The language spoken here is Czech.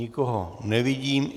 Nikoho nevidím.